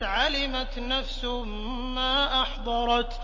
عَلِمَتْ نَفْسٌ مَّا أَحْضَرَتْ